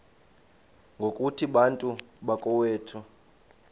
ngokuthi bantu bakowethu